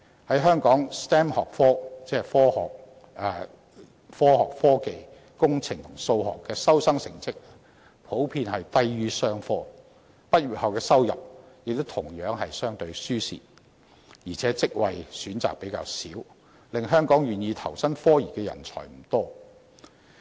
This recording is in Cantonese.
在香港 ，STEM 學科的收生成績普遍低於商科 ，STEM 學生畢業後的收入亦同樣相對吃虧，而且職位選擇較少，令香港願意投身科研的人才不多。